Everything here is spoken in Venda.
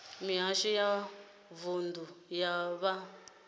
mihasho ya mavunḓu ya vha